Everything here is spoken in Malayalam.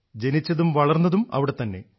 ജനിച്ചതും വളർന്നതും അവിടെത്തന്നെ